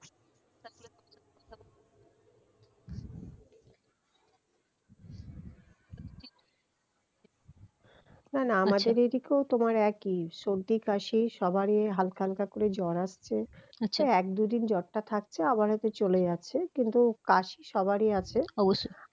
না না আমাদের এই দিকেও তোমার একই সর্দি কাশি সবারই হালকা হালকা করে জ্বর আসছে এক দুই দিন জ্বরটা থাকছে আবার হয়তো চলে যাচ্ছে কিন্তু কাশি সবারই আছে